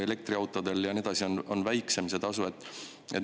Elektriautodel on väiksem.